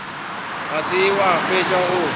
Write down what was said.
ga se wa fetša go